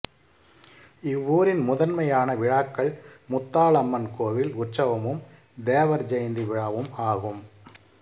இவ்வூரின் முதன்மையான விழாக்கள் முத்தாளம்மன் கோவில் உற்சவமும் தேவர் ஜெயந்தி விழாவும் ஆகும்